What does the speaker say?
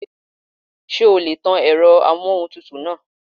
Ṣé o lè tan èrọ amóhuntutù náà?